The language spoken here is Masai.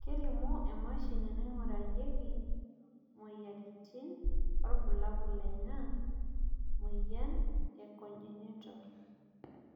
kelimu emashini naingurarieki imoyiaritin irbulabol lena moyian e Congenital